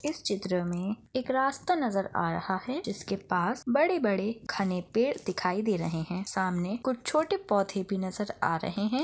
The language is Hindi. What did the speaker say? इस चित्र में एक रास्ता नज़र आ रहा है जिसके पास बड़े - बड़े घने पेड़ दिखाई दे रहे है सामने कुछ छोटे पौधे भी नज़र आ रहे है।